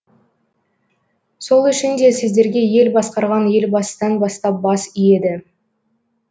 сол үшін де сіздерге ел басқарған елбасыдан бастап бас иеді